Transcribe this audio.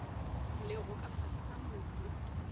lego ka fase ga mobu